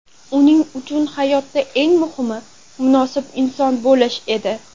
Uning uchun hayotda eng muhimi munosib inson bo‘lish edi.